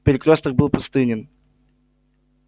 перекрёсток был пустынен